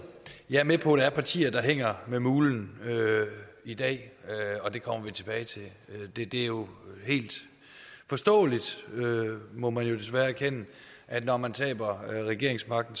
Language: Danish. jeg er med på at der er partier der hænger med mulen i dag og det kommer vi tilbage til det er jo helt forståeligt må man desværre erkende at når man taber regeringsmagten